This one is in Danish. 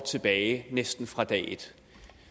tilbage næsten fra dag et